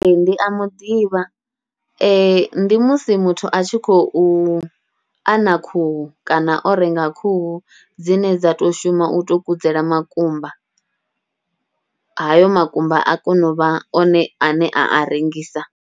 Ee, ndi a muḓivha ndi musi muthu a tshi khou ana khuhu kana o renga khuhu dzine dza to shuma utou kudzela makumba, hayo makumba a kona u vha one ane a a rengisa.